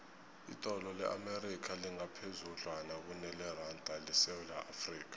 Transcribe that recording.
idola le amerika lingaphezudlwana kuneranda yesewula afrika